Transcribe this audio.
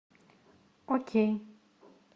окей